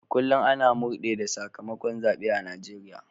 A kullum ana murde da sakamakon zabe a Najeriya